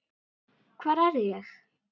hvar er ég?